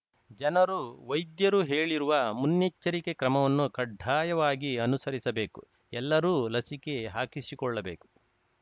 ಜನರು ವೈದ್ಯರು ಹೇಳಿರುವ ಮುನ್ನೆಚ್ಚರಿಕೆ ಕ್ರಮವನ್ನು ಕಡ್ಡಾಯವಾಗಿ ಅನುಸರಿಸಬೇಕು ಎಲ್ಲರೂ ಲಸಿಕೆ ಹಾಕಿಸಿಕೊಳ್ಳಬೇಕು